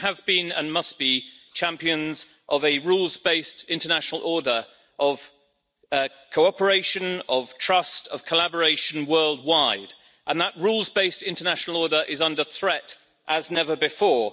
We have been, and must be, champions of a rules based international order of cooperation, of trust, of collaboration worldwide, and that rules based international order is under threat as never before.